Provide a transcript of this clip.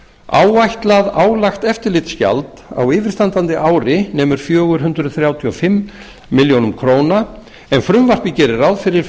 áætlað álagt eftirlitsgjald á yfirstandandi ári nemur fjögur hundruð þrjátíu og fimm milljónir króna en frumvarpið gerir ráð fyrir